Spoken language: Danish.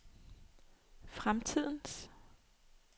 fremtidens